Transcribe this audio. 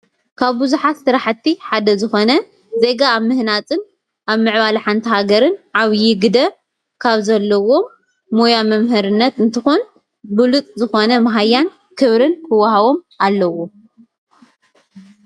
ካብ ቡዛሓት ሰራሕቲ ሓደ ዝኮነ ዜጋ ኣብ ምህናፅን ኣብ ምዕባል ሓኒት ሃገረ ዓቢይ ግደ ካብዘሎዎሞ ሞይ መምሀረነትአኒትከዉኒ ቡሉፁዝኮነ ማህያነ ክብረን ክዋሃቡ ኣሎዎሞ፡፡